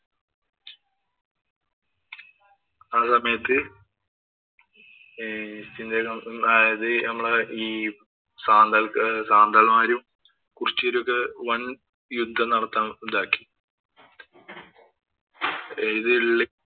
ആ സമയത്ത് ഈ east india company അതായത് നമ്മടെ ഈ സാന്താള്‍ സാന്താള്‍മാരും, കുരിച്യരുമൊക്കെ വന്‍ യുദ്ധം നടത്താന്‍ ഇതാക്കി. ഇത്